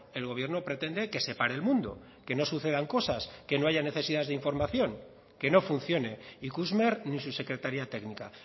el gobierno pretende que se pare el mundo que no sucedan cosas que no haya necesidades de información que no funcione ikusmer ni su secretaría técnica